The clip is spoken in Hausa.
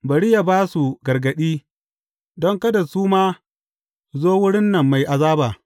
Bari yă ba su gargaɗi, don kada su ma su zo wurin nan mai azaba.’